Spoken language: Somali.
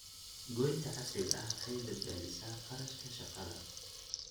Goynta casriga ah waxay badbaadisaa kharashka shaqada.